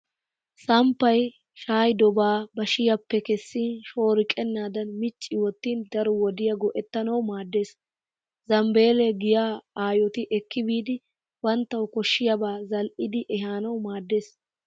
Samppay shaayidobaa bashiyaappe kessin shooriqennaadan micci wottin daro wodiya go'ettanawu maaddes. Zambbeelle giya ayoti ekki biidi banttana koshshiyaabaa zal'idi ehanawu maaddes.